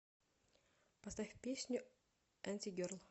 поставь песню антигерл